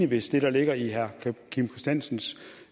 hvis det der ligger i herre kim christiansens